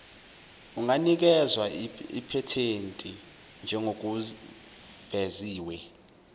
unganikezwa iphethenti njengokuveziwe